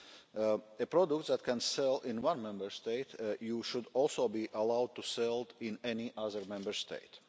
A product that can sell in one Member State, you should also be allowed to sell in any other Member State.